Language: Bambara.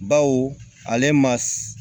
Baw ale ma